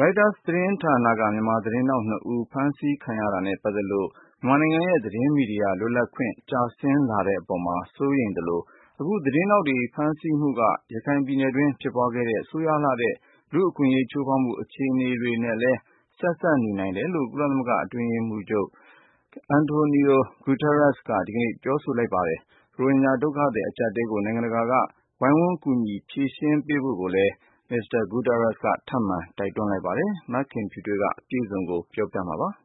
ရိုက်တာသတင်းဌာနက မြန်မာသတင်းထောက်နှစ်ဦး ဖမ်းဆီးခံရတာနဲ့ပတ်သက်လို့ မြန်မာနိုင်ငံရဲ့ သတင်းမီဒီယာလွတ်လပ်ခွင့် ကျဆင်းလာတဲ့အပေါ်မှာ စိုးရိမ်သလို၊ အခု သတင်းထောက်တွေဖမ်းဆီးမှုက ရခိုင်ပြည်နယ်တွင်း ဖြစ်ပွားခဲ့တဲ့ ဆိုးရွားလှတဲ့ လူ့အခွင့်အရေး ချိုးဖောက်မှု အခြေအနေတွေနဲ့လည်း ဆက်စပ်နေနိုင်တယ်လို့ ကုလသမဂ္ဂ အတွင်းရေးမှူးချုပ် အန်တိုနီယို ဂူးတားရက်စ် က ဒီကနေ့ ပြောဆိုလိုက်ပါတယ်။ ရိုဟင်ဂျာ ဒုက္ခသည် အကျပ်အတည်းကို နိုင်ငံတကာက ဝိုင်းဝန်း ကူညီ ဖြေရှင်းပေးဖို့လည်း မစ္စတာ ဂူးတားရက်စ်က ထပ်မံ တိုက်တွန်းသွားပါတယ်။ မခင်ဖြူထွေးက အပြည့်စုံ တင်ပြပေးပါမယ်။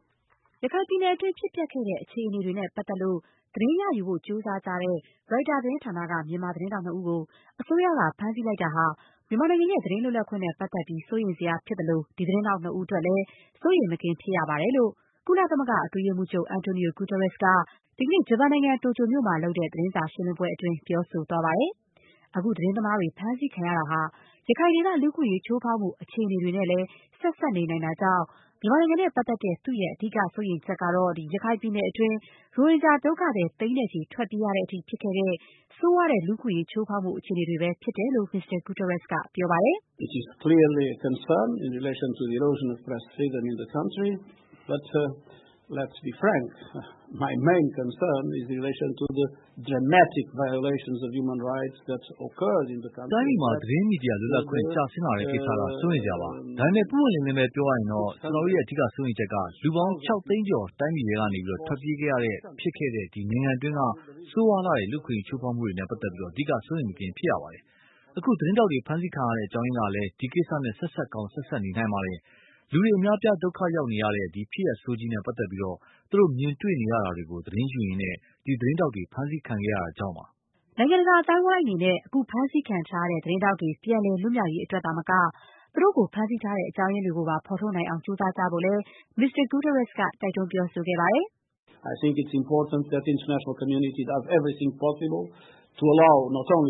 ရခိုင်ပြည်နယ်အတွင်း ဖြစ်ပျက်ခဲ့တဲ့ အခြေအနေတွေနဲ့ပတ်သက်လို့ သတင်း ရယူဖို့ကြိုးစားကြတဲ့ ရိုက်တာ သတင်းဌာနက မြန်မာ သတင်းထောက်နှစ်ဦးကို အစိုးရက ဖမ်းဆီးလိုက်တာဟာ မြန်မာနိုင်ငံရဲ့ သတင်းစာလွတ်လပ်ခွင့်နဲ့ပတ်သက်ပြီး စိုးရိမ်စရာဖြစ်သလို၊ ဒီသတင်းထောက်နှစ်ဦး အတွက်လည်း စိုးရိမ်မကင်းဖြစ်ရပါတယ်လို့ ကုလသမဂ္ဂ အတွင်းရေးမှူးချုပ် အန်တိုနီယို ဂူးတားရက်စ် က ဒီကနေ့ ဂျပန်နိုင်ငံ တိုကျိုမြို့တော်မှာလုပ်တဲ့ သတင်းစာရှင်းလင်းပွဲအတွင်း ပြောဆိုသွားပါတယ်။ အခုသတင်းသမားတွေ ဖမ်းဆီးခံရတာဟာ ရခိုင်ဒေသ လူ့အခွင့်အရေး ချိုးဖောက်မှု အခြေအနေတွေနဲ့လည်း ဆက်စပ်နေနိုင်တာကြောင့်၊ မြန်မာနိုင်ငံနဲ့ပတ်သက်တဲ့ သူ့ရဲ့ အဓိက စိုးရိမ်ချက်ကတော့ ရခိုင်ပြည်နယ်တွင်း ရိုဟင်ဂျာဒုက္ခသည် သိန်းနဲ့ချီ ထွက်ပြေးခဲ့ရတဲ့ဖြစ်ခဲ့တဲ့ ဖြစ်ခဲ့တဲ့ ဆိုးရွားတဲ့ လူ့အခွင့်အရေး ချိုးဖောက်မှု အခြေအနေတွေပဲ ဖြစ်တယ်လို့ မစ္စတာ ဂူးတားရက်စ်က ပြောပါတယ်။ "တိုင်းပြည်မှာ သတင်းမီဒီယာလွတ်လပ်ခွင့် ကျဆင်းလာတဲ့ကိစ္စက စိုးရိမ်စရာပါ။ ဒါပေမဲ့ ပွင့်ပွင့်လင်းလင်းပဲ ပြောရရင်တော့ ကျနော်တို့ရဲ့ အဓိက စိုးရိမ်ချက်ကတော့ လူပေါင်း ၆ သိန်းကျော် တိုင်းပြည်ထဲကနေ ထွက်ပြေးခဲ့ရတဲ့အထိ ဖြစ်ခဲ့တဲ့ ဒီနိုင်ငံအတွင်းက ဆိုးရွားလှတဲ့ လူ့အခွင့်အရေး ချိုးဖောက်မှုတွေနဲ့ ပတ်သက်ပြီး အဓိက စိုးရိမ်မကင်း ဖြစ်ရပါတယ်။ အခုသတင်းထောက်တွေ ဖမ်းဆီးခံရတဲ့ အကြောင်းရင်းကလည်း ဒီကိစ္စနဲ့ ဆက်စပ်ကောင်း ဆက်စပ်နေနိုင်ပါတယ်။ လူတွေ အများအပြား ဒုက္ခရောက်နေရတဲ့ ဒီဖြစ်ရပ်ဆိုးကြီးနဲ့ ပတ်သက်လို့ သူတို့မြင်တွေ့ရတာတွေကို သတင်းယူရင်းနဲ့ ဒီသတင်းထောက်တွေ ဖမ်းဆီးခံကြရတာကြောင့်ပါ။” နိုင်ငံတကာ အသိုင်းအဝိုင်းအနေနဲ့ အခုဖမ်းဆီးခံထားရတဲ့ သတင်းထောက်တွေ ပြန်လည် လွတ်မြောက်ရေးအတွက်သာမက၊ သူတို့ကို ဖမ်းဆီးထားတဲ့ အကြောင်းတွေကိုပါ ဖော်ထုတ်နိုင်အောင် ကြိုးစားကြဖို့လည်း ကုလသမဂ္ဂ အတွင်းရေးမှူးချုပ် အန်တိုနီယို ဂူးတားရက်စ်က တိုက်တွန်း ပြောဆိုသွားပါတယ်။ “သတင်းမီဒီယာလွတ်လပ်ခွင့်ဟာ အရေးကြီးပါတယ်။ ဒါ့ကြောင့် န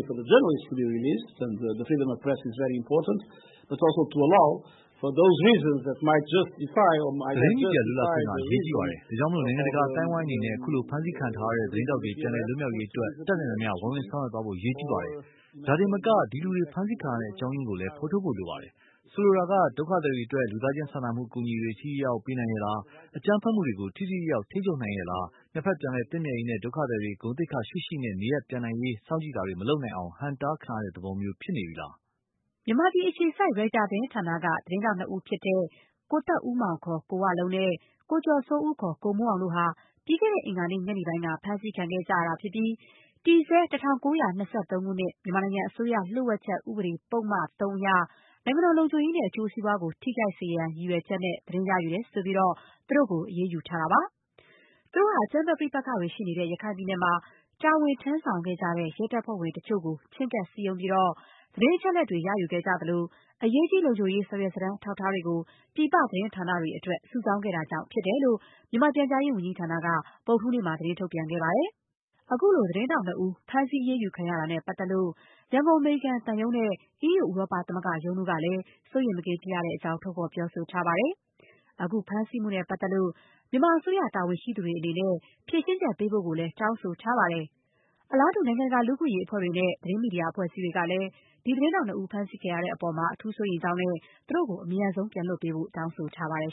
ိုင်ငံတကာ အသိုင်းအဝိုင်းအနေနဲ့ အခုဖမ်းဆီးခံထားရတဲ့ သတင်းထောက်တွေ ပြန်လည် လွတ်မြောက်ရေးအတွက် တတ်နိုင်သမျှ ဝိုင်းဝန်းဆောင်ရွက်သွားဖို့ အရေးကြီးပါတယ်။ ဒါတင်မက ဒီလူတွေ ဖမ်းဆီးခံရတဲ့အကြောင်းရင်းကိုလည်း ဖော်ထုတ်ဖို့ လိုပါတယ်။ ဆိုလိုတာက ဒုက္ခသည်တွေအတွက် လူသားချင်းစာနာမှု အကူအညီတွေ ထိထိရောက်ရောက် ပေးနိုင်ရဲ့လား… အကြမ်းဖက်မှုတွေကို ထိထိရောက်ရောက် ထိန်းချုပ်နိုင်ရဲ့လား၊ နှစ်ဘက် ပြန်လည်သင့်မြတ်ရေး နဲ့ ဒုက္ခသည်တွေ ဂုဏ်သိက္ခာရှိရှိ နေရပ်ပြန်နိုင်ရေး စောင့်ကြည့်တာတွေ မလုပ်နိုင်အောင် ဟန့်တားတဲ့သဘောမျိုး ဖြစ်နေသလား… (အကြောင်းရင်းတွေကို ဖော်ထုတ်ဖို့ အရေးကြီးပါတယ်)။” မြန်မာပြည်အခြေစိုက် ရိုက်တာသတင်းဌာနက သတင်းထောက်၂ ယောက်ဖြစ်တဲ့ ကိုသက်ဦးမောင် (ခေါ်) ကိုဝလုံး နဲ့ ကိုကျော်စိုးဦး (ခေါ်) ကိုမိုးအောင်တို့ဟာ ပြီးခဲ့တဲ့အင်္ဂါနေ့ ညနေပိုင်းက ဖမ်းဆီးခံခဲ့ရတာဖြစ်ပြီး၊ တည်ဆဲ ၁၉၂၃ ခုနှစ် မြန်မာနိုင်ငံ အစိုးရ လျှို့ဝှက်ချက် ဥပဒေပုဒ်မ (၃) အရ နိုင်ငံတော် လုံခြုံရေးနဲ့ အကျိုးစီးပွားကို ထိခိုက်စေရန် ရည်ရွယ်ချက်နဲ့ သတင်းရယူတယ်ဆိုပြီး သူတို့ကို အရေးယူထားပါတယ်။ သူတို့ဟာ အကြမ်းဖက် ပဋိပက္ခတွေရှိနေတဲ့ ရခိုင်ပြည်နယ်မှာ တာဝန် ထမ်းဆောင်ခဲ့ကြတဲ့ ရဲတပ်ဖွဲ့ဝင်တချို့ကို ချဉ်းကပ်စည်းရုံးပြီး သတင်း အချက်အလက်တွေ ရယူခဲ့ကြသလို အရေးကြီး လုံခြုံရေး စာရွက်စာတမ်း အထောက်အထားတွေကို ပြည်ပသတင်း ဌာနတွေအတွက် စုဆောင်းခဲ့တာကြောင့်ဖြစ်တယ်လို့ မြန်မာပြန်ကြားဝန်ကြီးဌာနက ဗုဒ္ဓဟူးနေ့မှာ သတင်းထုတ်ပြန်ထားပါတယ်။ ခုလို သတင်းထောက်နှစ်ဦး ဖမ်းဆီး အရေးယူခံရတာနဲ့ပတ်သက်လို့ ရန်ကုန် အမေရိကန်သံရုံး နဲ့ အီးယူ ဥရောပသမဂ္ဂ ရုံးတို့ကလည်း စိုးရိမ်မကင်းဖြစ်ရကြောင်း ထုတ်ဖော်ပြောဆိုထားပါတယ်။ အခုဖမ်းဆီးမှုနဲ့ ပတ်သက်လို့ မြန်မာအစိုးရ တာဝန်ရှိသူတွေ အနေနဲ့ ဖြေရှင်းချက် ပေးဖို့ကိုလည်း တောင်းဆိုထားပါတယ်။ အလားတူ နိုင်ငံတကာလူ့အခွင့်အရေးအဖွဲ့တွေနဲ့ သတင်းမီဒီယာ အဖွဲ့အစည်းတွေကလည်း ဒီ သတင်းထောက်နှစ်ဦး ဖမ်းဆီးခံရတဲ့အပေါ် အထူးစိုးရိမ်ကြောင်းနဲ့ သူတို့ကို အမြန်ဆုံး ပြန်လွှတ်ပေးဖို့ တောင်းဆိုထားပါတယ်